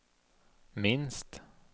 minst